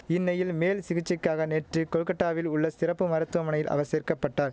இன்னையில் மேல் சிகிச்சைக்காக நேற்று கோல்கட்டாவில் உள்ள சிறப்பு மருத்துவமனையில் அவர் சேர்க்க பட்டார்